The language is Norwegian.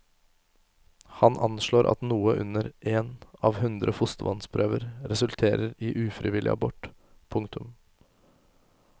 Han anslår at noe under én av hundre fostervannsprøver resulterer i ufrivillig abort. punktum